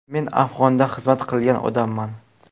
Men Afg‘onda xizmat qilgan odamman.